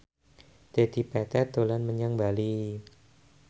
Dedi Petet dolan menyang Bali